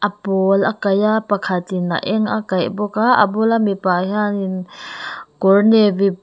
a pawl a kaih a pakhatin a eng a kaih bawk a a bula mipa hianin kawr navy --